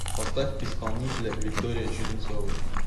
поставь исполнителя виктория черенцова